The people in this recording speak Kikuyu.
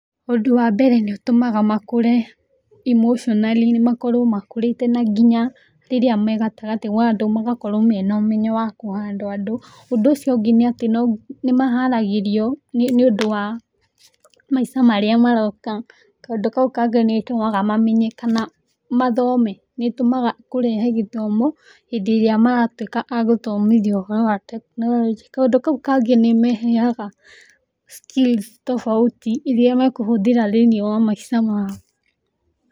ũndũ wambere nĩũtũmaga makũre emotionally makorwo makũrĩte na nginya rĩrĩa megatagatĩ wa andũ magakorwo mena ũmenyo wa kũ handle andũ. ũndũ ũcio ũngĩ nĩatĩ nĩmaharagĩrio nĩũndũ wa maica marĩa maroka . Kaũndũ kau kangĩ nĩtũmaga mamenye kana mathome . Nĩtũmaga kũrehe gĩthomo hĩndĩ ĩrĩa maratuĩka agũthomithio ũhoro wa tekinoronjĩ. Kaũndũ kau kangĩ nĩmeheaga skills tofauti iria makũhũthĩra thĩiniĩ wa maica mao.